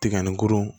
Tiga ni gurun